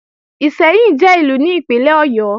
Ìṣẹ́yìn jẹ́ Ìlú ní Ìpínlẹ̀ Ọ̀yọ́